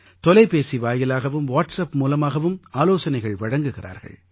தொலைபேசி வாயிலாகவும் வாட்ஸப் மூலமாகவும் ஆலோசனைகள் வழங்குகிறார்கள்